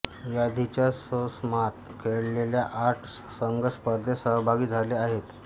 याधीच्या मोसमात खेळलेल्या आठ संघ स्पर्धेत सहभागी झाले आहेत